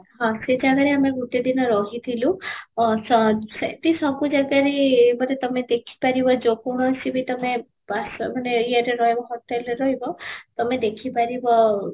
ହଁ, ସେଇ time ରେ ଆମେ ଗୋଟେ ଦିନ ରହି ଥିଲୁ, ଅ ସ ସେଠି ସବୁ ଜାଗାରେ ମାନେ ତମେ ଦେଖିବ ଯଉ କୌଣସି ବି ତମେ ବାସ ମାନେ ୟେରେ ରହିବ hotel ରେ ରହିବ ତମେ ଦେଖି ପାରିବ